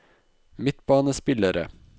midtbanespillere